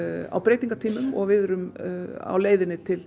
á breytingartímum og við erum á leiðinni til